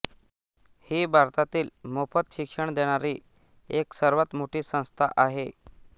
ही भारतातील मोफत शिक्षण देणारी एक सर्वात मोठी संस्था आहे